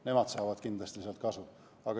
Nemad saavad kindlasti sealt kasu.